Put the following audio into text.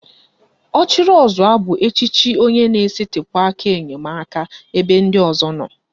Ọchịrịọzụọ bụ echiche onye na-esetịpụ aka enyemaka ebe ndị ọzọ nọ